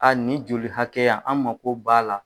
A nin joli hakɛya an mago b'a la.